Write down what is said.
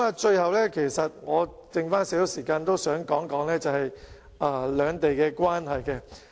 最後，尚餘一點時間，我想談談兩地的關係。